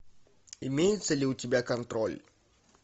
имеется ли у тебя контроль